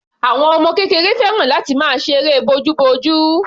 Àwọn ọmọ kékeré fẹ́ràn láti máa ṣe eré bojúbojú.